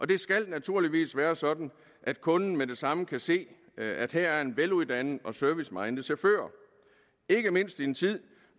det skal naturligvis være sådan at kunden med det samme kan se at her er en veluddannet og serviceminded chauffør ikke mindst i en tid